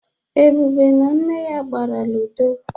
Ebube na nne ya gbara lidọ.